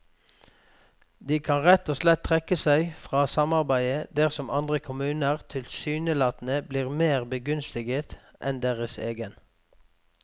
De kan rett og slett trekke seg fra samarbeidet dersom andre kommuner tilsynelatende blir mer begunstiget enn deres egen.